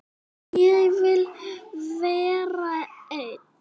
Ég vil vera einn.